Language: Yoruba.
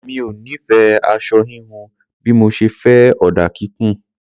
Mi ò nífẹ̀ẹ́ aṣọ híhun bí mo ṣe fẹ́ ọ̀dà kíkùn.